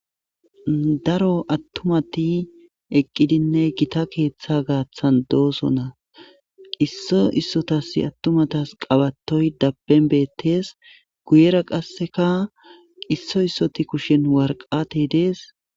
daro attumati eqqidinne gita keeththa gaaththan dooso na qisso issotas attumatas qawatoy dappenbeettees guyera qasseka qisso issoti kushen warqatey dees